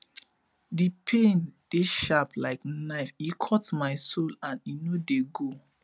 di pain dey sharp like knife e cut my soul and e no dey go